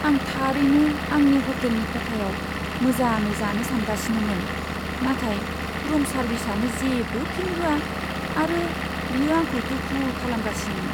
आं थारैनो आंनि हटेलनि खथायाव मोजाङै जानो सानगासिनोमोन, नाथाय रुम सार्भिसआनो जेबो फिन होआ आरो बियो आंखौ दुखु खालामगासिनो।